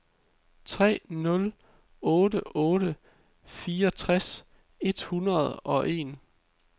tre nul otte otte fireogtres et hundrede og en